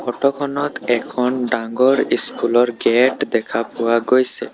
Photo খনত এখন ডাঙৰ স্কুল ৰ গেট দেখা পোৱা গৈছে।